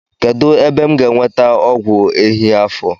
Kedụ ebe m ga-enweta ọgwụ ehi afọ?